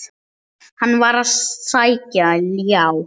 Hann var að sækja ljá.